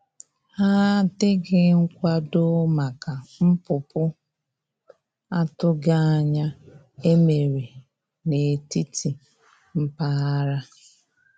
Ha dịghị nkwado maka npụpụ atụghi anya e mere na etiti mpaghara.